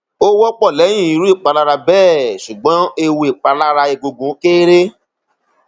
ó wọpọ lẹyìn irú ìpalára bẹẹ ṣùgbọn ewu ìpalára egungun kééré